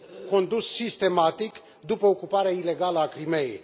condus sistematic după ocuparea ilegală a Crimeii.